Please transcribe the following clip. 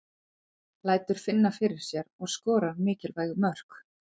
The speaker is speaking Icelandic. Lætur finna fyrir sér og skorar mikilvæg mörk.